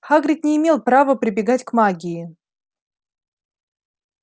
хагрид не имел права прибегать к магии